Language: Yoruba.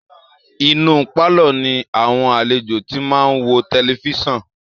Inú pálọ̀ ni àwọn alejò ti máa ń wo tẹlifíṣan